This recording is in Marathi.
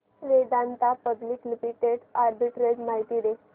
वेदांता पब्लिक लिमिटेड आर्बिट्रेज माहिती दे